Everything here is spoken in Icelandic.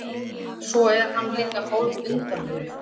Svo er hann líka hálfundarlegur.